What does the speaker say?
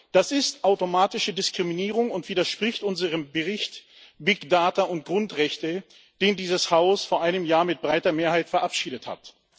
Das ist automatische Diskriminierung und widerspricht unserem Bericht über Big Data und Grundrechte, den dieses Haus vor einem Jahr mit breiter Mehrheit verabschiedet hat.